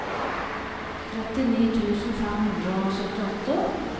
trettini tusen fem hundre og syttiåtte